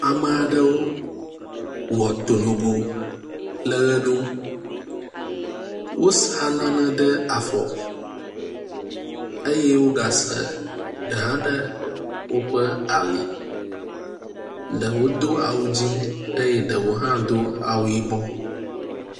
Ame aɖewo wɔ to nogo le ʋe ɖum. Wosa nane ɖe afɔ eye woga se ɖe hã ɖe woƒe ali. Ɖewo do awu dzi eye ɖewo hã do awu yibɔ.